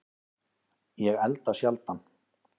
Ég elda sjaldan